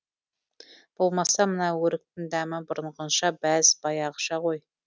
болмаса мына өріктің дәмі бұрынғыша бәз баяғыша ғой